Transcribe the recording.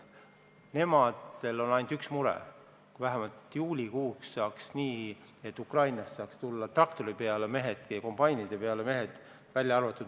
Nendel on ainult üks mure: kui vähemalt juulikuuks saaks otsustatud, et Ukrainast saaks tulla mehed traktorite ja kombainide peale.